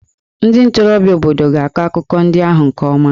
Ndị ntorobịa obodo ga-akọ akụkọ ndị ahụ nke ọma.